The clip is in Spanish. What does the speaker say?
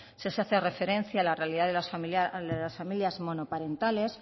sí se hace referencia a la realidad de las familias monoparentales